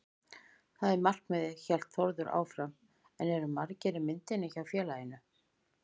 Það er markmiðið, hélt Þórður áfram en eru margir í myndinni hjá félaginu?